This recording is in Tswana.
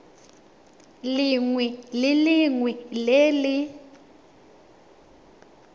lengwe le lengwe le le